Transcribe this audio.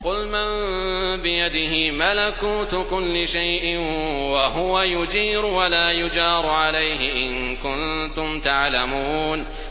قُلْ مَن بِيَدِهِ مَلَكُوتُ كُلِّ شَيْءٍ وَهُوَ يُجِيرُ وَلَا يُجَارُ عَلَيْهِ إِن كُنتُمْ تَعْلَمُونَ